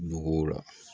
Nogow la